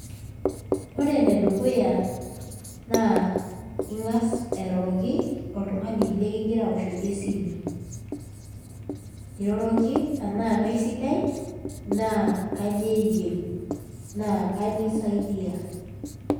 Ore enedukuya naa Inga's airoroki oltung'ani likigira aoshoki esimu niroroki enaa kaisidai naa kainyio eyieu na kainyio isaidia.